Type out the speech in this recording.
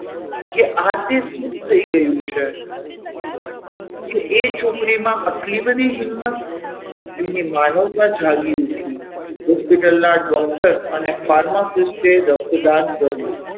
કે આ તે શું થઈ ગયું છે કે એ છોકરીમાં આટલી બધી હિંમત એમની માનવતા જાગી ઉઠી Hospital ના doctor અને pharmacist રક્તદાન કર્યું.